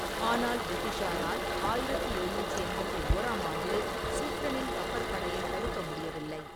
ஆனால் பிரிட்டிஷாரால் ஆயிரத்தி எழுநூற்றி எண்பத்தி ஓறாம் ஆண்டில் சுஃப்ரெனின் கப்பற்படையைத் தடுக்க முடியவில்லை.